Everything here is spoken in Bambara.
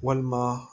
Walima